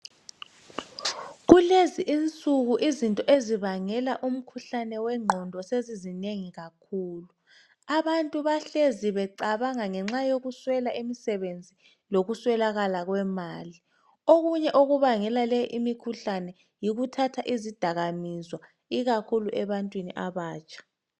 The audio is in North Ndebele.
kulezi insuku izinto ezinto ezibangela imikhuhlane wenqondo sezinengi kakhulu abanye babangelwa yikuswela umsebenzi lokuswelakala kwemali okunye okubangela leyo mkhuhlane yikuthatha izidakamizwa ikakhulu ebantwini abatsha